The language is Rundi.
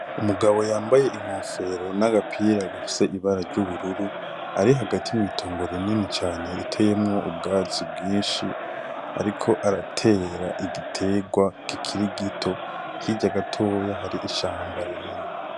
Umugabo yambaye inkofero n'agapira gafise ibara ry'ubururu ari hagati mw'itongo rinini cane riteyemwo ubwatsi bwinshi ariko aratera igiterwa kikiri gito, hirya gatoya hari ishamba rinini.